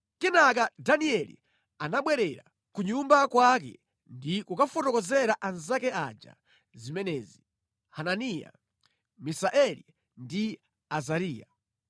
Kenaka Danieli anabwerera ku nyumba kwake ndi kukafotokozera anzake aja zimenezi: Hananiya, Misaeli ndi Azariya.